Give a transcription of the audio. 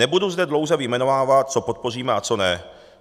Nebudu zde dlouze vyjmenovávat, co podpoříme a co ne.